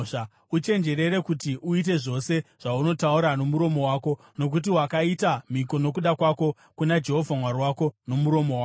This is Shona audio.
Uchenjerere kuti uite zvose zvaunotaura nomuromo wako, nokuti wakaita mhiko nokuda kwako kuna Jehovha Mwari wako nomuromo wako.